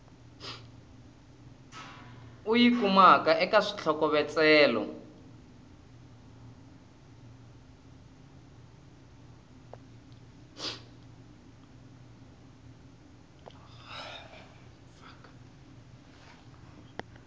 u yi kumaka eka xitlhokovetselo